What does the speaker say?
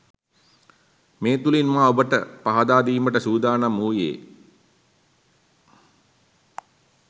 මේ තුළින් මා ඔබට පහදාදීමට සූදානම් වූයේ